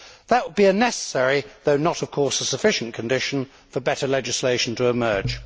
That would be a necessary, though not of course a sufficient, condition for better legislation to emerge.